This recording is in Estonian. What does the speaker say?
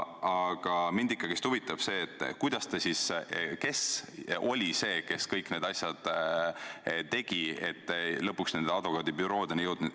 Aga mind ikkagi huvitab, kes oli see, kes kõik need asjad tegi, et te lõpuks nende advokaadibüroodeni jõudsite.